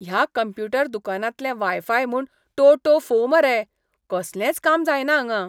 ह्या कंप्युटर दुकानांतलें वायफाय म्हूण टोटोफो मरे. कसलेंच काम जायना हांगां.